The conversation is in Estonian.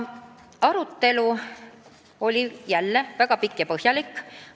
Arutelu oli jälle väga pikk ja põhjalik.